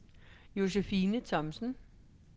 Josefine Thomsen